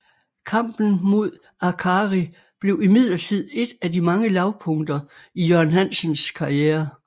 Kampen mod Arcari blev imidlertid et af de mange lavpunkter i Jørgen Hansens karriere